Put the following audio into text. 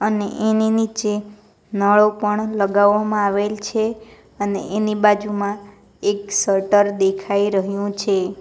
ને એની નીચે નળો પણ લગાવવામાં આવેલ છે અને એની બાજુમાં એક શટર દેખાઈ રહ્યુ છે.